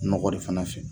Nɔgɔ de fana fɛ